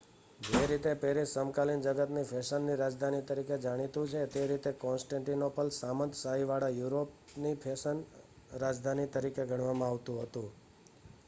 જે રીતે પેરીસ સમકાલીન જગતની ફેશનની રાજધાની તરીકે જાણીતું છે તે રીતે કોન્સ્ટેન્ટીનોપલ શામંતશાહીવાળા યુરોપની ફેશન રાજધાની તરીકે ગણવામાં આવતુ હતુ